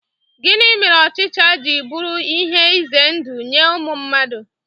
Gịnị mere ochicha ji buru ihe ize ndụ nye ụmụ mmadụ?